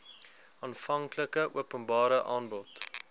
aanvanklike openbare aanbod